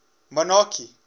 monarchy